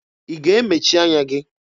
Ị ga-emechi anya gị?